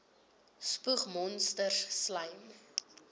spoeg monsters slym